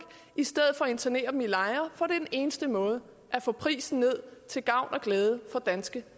i stedet for at internere dem i lejre for den eneste måde at få prisen ned til gavn og glæde for danske